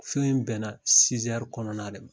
Fɛn in bɛna kɔnɔna de ma